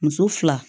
Muso fila